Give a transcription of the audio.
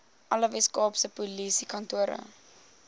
alle weskaapse polisiekantore